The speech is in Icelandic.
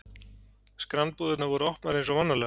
Skranbúðirnar voru opnar eins og vanalega.